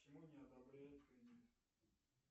почему не одобряют кредит